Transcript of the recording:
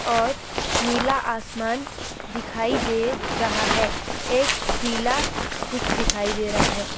और नीला आसमान दिखाई दे रहा है। एक पीला कुछ दिखाई दे रहा है।